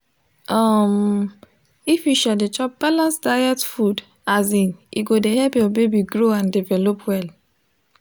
um if you um de chop balanced diet food um e go de help ur baby grow and develop well